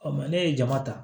ne ye jama ta